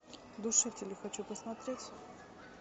душители хочу посмотреть